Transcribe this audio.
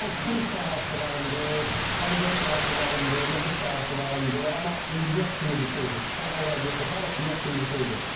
Mən Xuruz sahəsi varımdır, pomidor sahəsi varımdır, noxud sahəsi varımdır, amma indi yox kimi bir şeydir, siçan o vəziyyətə salıb ki, yox kimi bir şeydir.